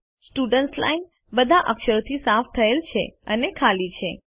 students line બધા અક્ષરોથી સાફ થયેલ છે અને ખાલી છે